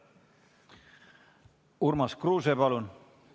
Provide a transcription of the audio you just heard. Urmas Kruuse, palun!